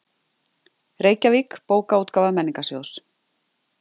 Reykjavík, Bókaútgáfa Menningarsjóðs.